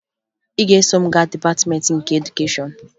Ị ga-eso m gaa Dịpatịmeentị nke Edukeshọn